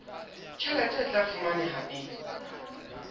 tjhelete e tla fumaneha neng